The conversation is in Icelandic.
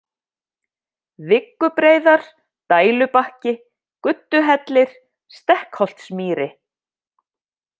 Viggubreiðar, Dælubakki, Gudduhellir, Stekkholtsmýri